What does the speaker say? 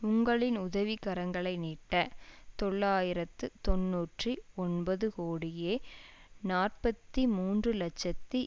உங்களின் உதவி கரங்களை நீட்ட தொள்ளாயிரத்து தொன்னூற்றி ஒன்பது கோடியே நாற்பத்தி மூன்று இலட்சத்தி